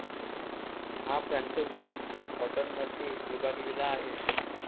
हा प्रांत वीस कँटोनमध्ये विभागलेला आहे.